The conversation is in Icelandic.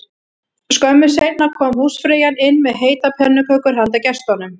Skömmu seinna kom húsfreyjan inn með heitar pönnukökur handa gestunum